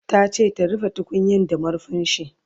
Tace ta rufe tukunyan da marfinshi